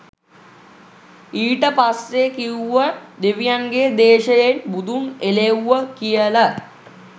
ඊට පස්සෙ කිවුව දෙවියන්ගෙ දේශයෙන් බුදුන් එලෙව්ව කියල